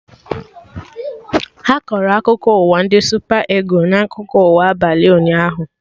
Ha kọrọ akụkọ ụwa ndị Supa Ịgụlụ na akụkọ ụwa abalị ụnyaahụ